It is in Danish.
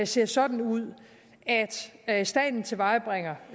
ser sådan ud at staten tilvejebringer